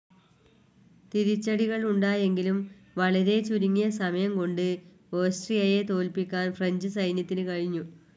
തിരിച്ചടികൾ ഉണ്ടായെങ്കിലും വളരെ ചുരുങ്ങിയ സമയം കൊണ്ട് ഓസ്ട്രിയയെ തോല്പിക്കാൻ ഫ്രഞ്ച്‌ സൈന്യത്തിനു കഴിഞ്ഞു.